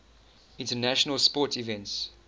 international sports events